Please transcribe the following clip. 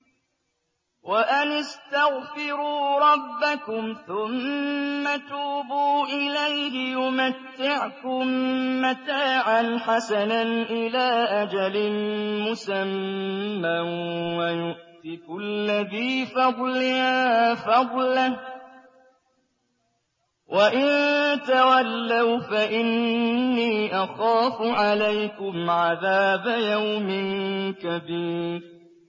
وَأَنِ اسْتَغْفِرُوا رَبَّكُمْ ثُمَّ تُوبُوا إِلَيْهِ يُمَتِّعْكُم مَّتَاعًا حَسَنًا إِلَىٰ أَجَلٍ مُّسَمًّى وَيُؤْتِ كُلَّ ذِي فَضْلٍ فَضْلَهُ ۖ وَإِن تَوَلَّوْا فَإِنِّي أَخَافُ عَلَيْكُمْ عَذَابَ يَوْمٍ كَبِيرٍ